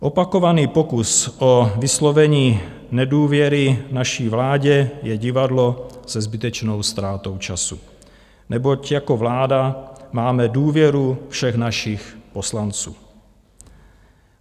Opakovaný pokus o vyslovení nedůvěry naší vládě je divadlo se zbytečnou ztrátou času, neboť jako vláda máme důvěru všech našich poslanců.